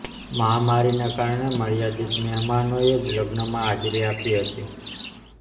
મહામારીના કારણે મર્યાદિત મહેમાનોએ જ લગ્નમાં હાજરી આપી હતી